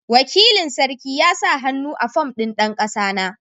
Wakilin sarki ya sa hannu a fom ɗin dan kasana.